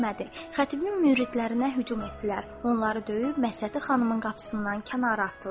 Xətibin müridlərinə hücum etdilər, onları döyüb Məhsəti xanımın qapısından kənara atdılar.